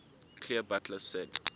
clear butler said